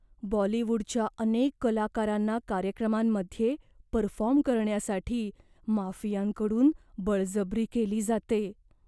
बॉलीवूडच्या अनेक कलाकारांना कार्यक्रमांमध्ये परफॉर्म करण्यासाठी माफियांकडून बळजबरी केली जाते.